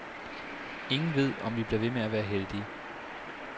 Ingen ved, om vi bliver ved med at være heldige.